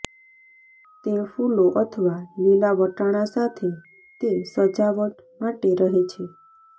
તે ફૂલો અથવા લીલા વટાણા સાથે તે સજાવટ માટે રહે છે